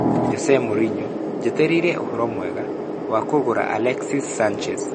Jose Mourinho: Njetereire ũhoro mwega, wa kũgũra Alexis Sanchez.